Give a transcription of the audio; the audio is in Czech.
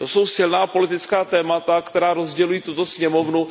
To jsou silná politická témata, která rozdělují tuto sněmovnu.